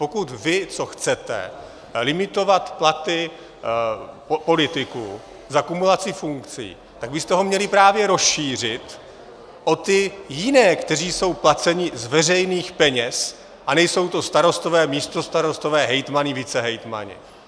Pokud vy, co chcete limitovat platy politiků za kumulaci funkcí, tak byste ho měli právě rozšířit o ty jiné, kteří jsou placeni z veřejných peněz, a nejsou to starostové, místostarostové, hejtmani, vicehejtmani.